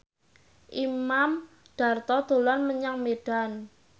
Imam Darto dolan menyang Medan